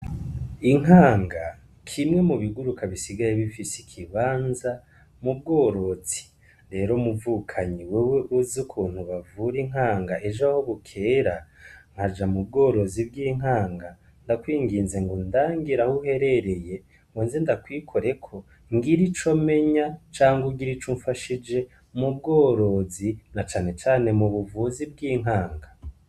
Inkanga kimwe mu biguruka bisigaye bifise ikibanza mubworosi rero muvukanyi wewe uzi ukuntu bavure inkanga ejo aho bukera nkaja mu bworozi bw'inkanga ndakwinginze ngo ndangira aho uherereye ngo nze ndakwikoreko ngire ico menya canga ugira ico umfashije mu bworozi na canecane mu buvuzi bw'inkanga.